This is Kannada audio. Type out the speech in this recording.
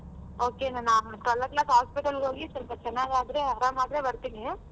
Okay ನಾನ್ twelve o'clock ಗೆ hospital ಗ್ ಹೋಗಿ ಸ್ವಲ್ಪ ಚನಾಗ್ ಆದ್ರೆ ಅರಾಮ್ ಆದ್ರೆ ಬರ್ತೀನಿ.